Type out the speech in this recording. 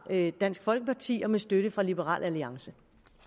dansk folkeparti og med støtte fra liberal alliance